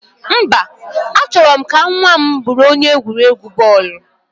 Mba, A chọrọ m ka nwa m bụrụ onye egwuregwu bọọlụ